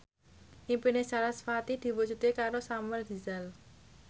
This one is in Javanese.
impine sarasvati diwujudke karo Samuel Rizal